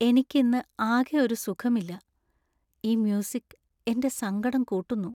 എനിക്ക് ഇന്ന് ആകെ ഒരു സുഖമില്ല, ഈ മ്യൂസിക് എന്‍റെ സങ്കടം കൂട്ടുന്നു .